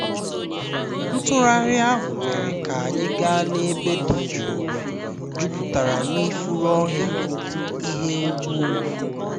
ntugharị ahụ mere ka anyị gaa n'ebe dị jụụ jupụtara na ifuru ọhịa na ịhụ ugwu ugwu